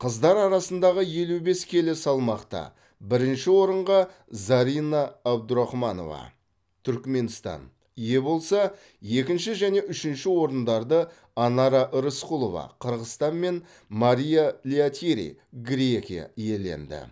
қыздар арасындағы елу бес келі салмақта бірінші орынға зарина абдурахманова түрікменстан ие болса екінші және үшінші орындарды анара рысқұлова қырғызстан мен мария лиатири грекия иеленді